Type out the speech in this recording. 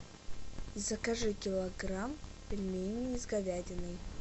закажи килограмм пельменей с говядиной